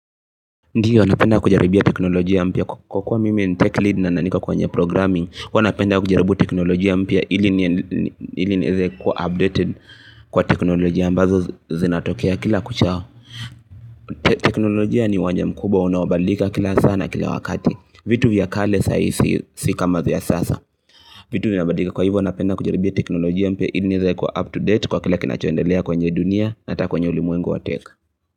Ndiyo napenda kujaribia teknolojia mpya kwa kuwa mimi ni techlead na niko kwenye programming huwa napenda kujaribu teknolojia mpya ili nieze kuwa updated kwa teknolojia ambazo zinatokea kila kuchao teknolojia ni uwanja mkubwa unaobadilika kila saa na kila wakati vitu vya kale saa hii si si kama vya sasa vitu vinabadilika kwa hivyo napenda kujaribia teknolojia mpya ili nieze kuwa up to date kwa kile kinachoendelea kwenye dunia na ata kwenye ulimwengu wa tech.